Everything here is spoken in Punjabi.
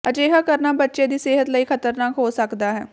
ਅਜਿਹਾ ਕਰਨਾ ਬੱਚੇ ਦੀ ਸਿਹਤ ਲਈ ਖਤਰਨਾਕ ਹੋ ਸਕਦਾ ਹੈ